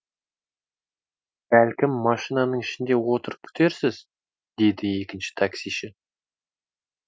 бәлкім машинаның ішінде отырып күтерсіз деді екінші таксиші